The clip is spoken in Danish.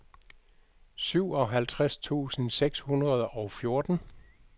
syvoghalvtreds tusind seks hundrede og fjorten